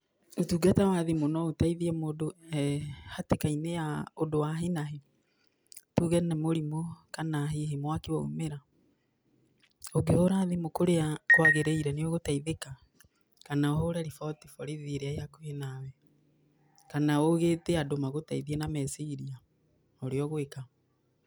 Ũtungata wa thimũ no ũteĩthie mũndũ e hatika-inĩ ya ũndũ wa hinahi. Tuuge nĩ mũrimũ kana hihi mwaki waumĩra, ũngĩhũra thimu kũria kwagĩrĩire nĩ ũgũteithĩka, kana ũhũre riboti borithi ĩrĩa ĩ hakuhĩ nawe, kana ũgĩĩte andũ magũteithie na meciria, ũrĩa ũgwĩka.